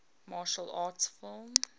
martial arts film